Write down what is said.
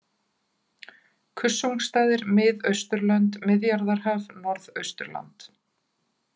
Kussungstaðir, Mið-Austurlönd, Miðjarðarhaf, Norðausturland